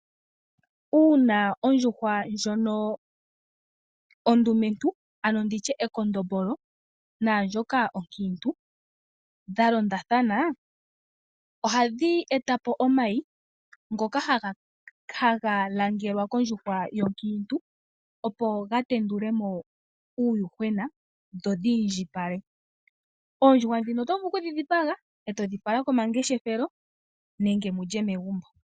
Uuna ondjuhwa ndjono ondumentu ano ndi tye ekondombolo naa ndjoka onkiintu dha londathana ohadhi eta po omayi ngoka haga langelwa kondjuhwa onkiintu , opo ga tendule mo uuyuhwena dho dhi indjipale. Oondjuhwa ndhino oto vulu okudhi dhipaga e to dhi fala komangeshefelo nenge mu lye megumbo.